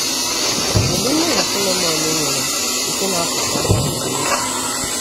Kedu mmehie Sọlọmọn nwere nke na-apụta ngwa ngwa n’echiche?